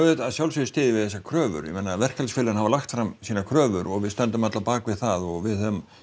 að sjálfsögðu styð ég þessar kröfur ég meina verkalýðsfélögin hafa lagt fram sínar kröfur og við stöndum öll á bak við það og við höfum